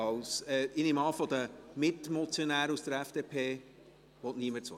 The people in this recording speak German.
Ich nehme an, von den Mitmotionären aus der FDP möchte niemand das Wort?